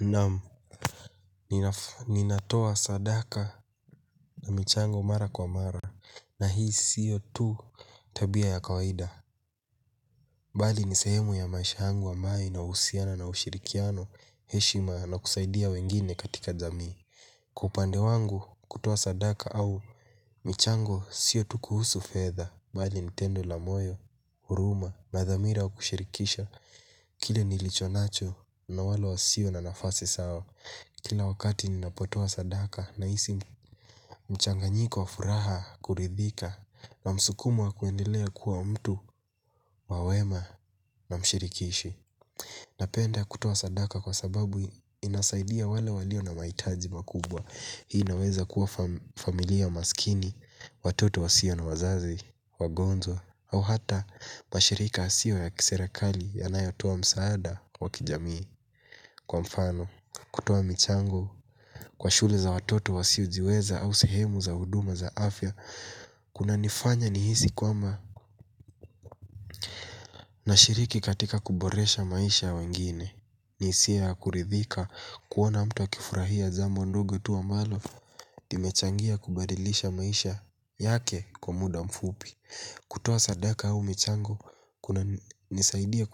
Naam, ninatoa sadaka na michango mara kwa mara, na hii sio tu tabia ya kawaida. Bali ni sehemu ya maisha yangu ambayo inahusiana na ushirikiano, heshima na kusaidia wengine katika jamii. Kwa upande wangu kutoa sadaka au michango siyo tu kuhusu fedha. Bali ni tendo la moyo, huruma, na dhamira wa kushirikisha, kile nilicho nacho na wale wasio na nafasi sawa. Kila wakati ninapotoa sadaka nahisi mchanganyiko wa furaha kuridhika na msukumo wa kuendelea kuwa mtu wa wema na mshirikishi. Napenda kutoa sadaka kwa sababu inasaidia wale walio na mahitaji makubwa. Hii inaweza kuwa familia maskini, watoto wasio na wazazi, wagonjwa au hata mashirika yasio ya kiserekali yanayotoa msaada wa kijamii. Kwa mfano, kutoa michango, kwa shule za watoto wasiojiweza au sehemu za huduma za afya, kunanifanya nihisi kwamba nashiriki katika kuboresha maisha ya wengine. Ni hisia ya kuridhika kuona mtu akifurahia jambo ndogo tu ambalo. Limechangia kubadilisha maisha yake kwa muda mfupi. Kutoa sadaka au michango, kunanisaidia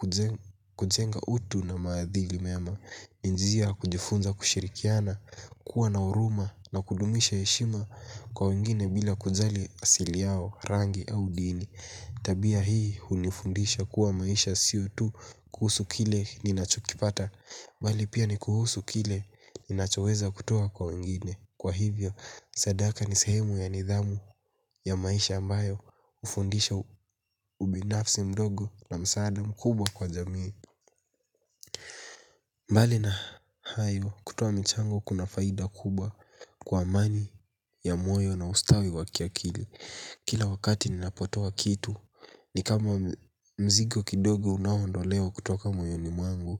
kujenga utu na maadili mema. Ni njia ya kujifunza kushirikiana, kuwa na huruma na kudumisha heshima kwa wengine bila kujali asili yao rangi au dini. Tabia hii hunifundisha kuwa maisha sio tu kuhusu kile ninachokipata bali pia ni kuhusu kile ninachoweza kutoa kwa wengine. Kwa hivyo sadaka ni sehemu ya nidhamu ya maisha ambayo hufundisha ubinafsi mdogo na msaada mkubwa kwa jamii. Mbali na hayo kutoa michango kuna faida kubwa kwa amani ya moyo na ustawi wa kiakili. Kila wakati ninapotoa kitu ni kama mzigo kidogo unao ondolewa kutoka moyoni mwangu.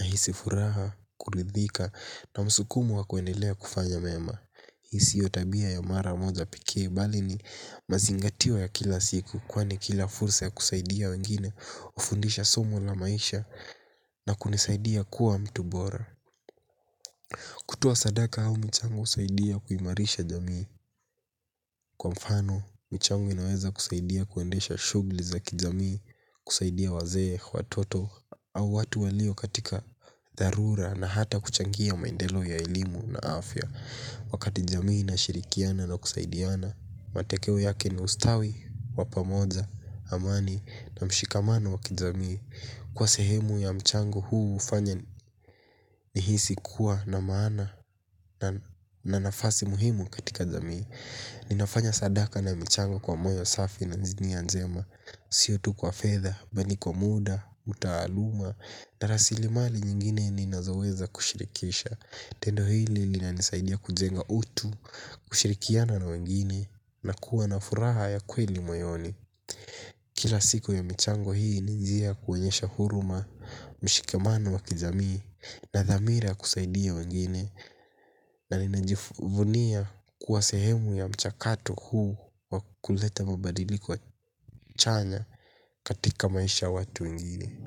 Nahisi furaha, kuridhika na msukumo wa kuendelea kufanya mema. Hii sio tabia ya mara moja pekee bali ni mazingatio ya kila siku kwani kila fursa ya kusaidia wengine hufundisha somo la maisha na kunisaidia kuwa mtu bora. Kutuoa sadaka au michango husaidia kuimarisha jamii. Kwa mfano, michango inaweza kusaidia kuendesha shughuli za kijamii kusaidia wazee, watoto au watu walio katika dharura na hata kuchangia maendelo ya elimu na afya. Wakati jamii inashirikiana na kusaidiana matokeo yake ni ustawi, wa pamoja, amani, na mshikamano wa kijamii. Kuwa sehemu ya mchango huu hufanya nihisi kuwa na maana na nafasi muhimu katika jamii. Ninafanya sadaka na michango kwa moyo safi na nia njema. Sio tu kwa fedha, bali kwa muda, utaaluma na rasilimali nyingine ninazoweza kushirikisha. Tendo hili linanisaidia kujenga utu, kushirikiana na wengine na kuwa na furaha ya kweli moyoni. Kila siku ya michango hii ni njia ya kuonyesha huruma mshikamano wa kijamii na dhamira ya kusaidia wengine na ninajivunia kuwa sehemu ya mchakato huu wa kuleta mabadiliko chanya katika maisha ya watu wangine.